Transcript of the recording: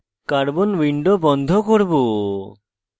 carbon window বন্ধ করব